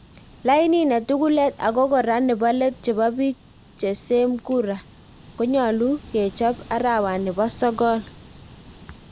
Lainit ne tugulet ako kora nepo let chepo pik che same kura konyalu kechap arawani po sogol.